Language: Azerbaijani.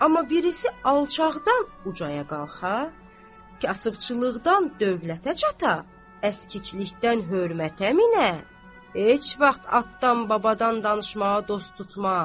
Amma birisi alçaqdan ucaya qalxa, kasıbçılıqdan dövlətə çata, əskiklikdən hörmətə minə, heç vaxt atdan babadan danışmağı dost tutmaz.